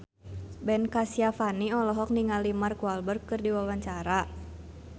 Ben Kasyafani olohok ningali Mark Walberg keur diwawancara